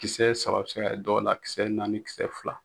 Kisɛ saba bɛ se ka kɛ dɔw la, kisɛ naani kisɛ fila.